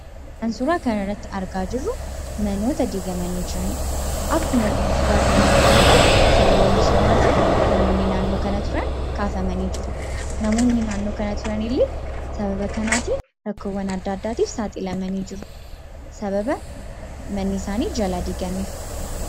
Kan suuraaa kana irratti argaa jirru manoota diigamanii jiranidha. Akkuma suuraa kanarratti mul'atu sababa misoomaatiin namoonni naannoo kana turan kaafamanii jiru. Namoonni naannoo kana jiranillee sababa kanaatiin rakkoowwan adda addaatiif saaxilamanii jiru. Sababa manni isaanii jalaa diigameef.